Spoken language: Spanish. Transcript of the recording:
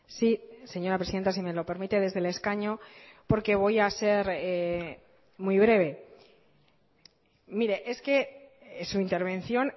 sí señora presidenta si me lo permite desde el escaño porque voy a ser muy breve mire es que su intervención